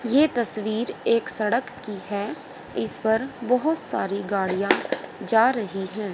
ये तस्वीर एक सड़क की है इस पर बोहोत सारी गाड़ियां जा रही है।